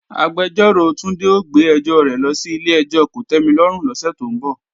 Agbẹjọ́rò Túndé ó gbé ẹjọ́ rẹ̀ lọ sí ilé-ẹjọ́ kòtẹ́milọ́rùn lọ́sẹ̀ tó ń bọ̀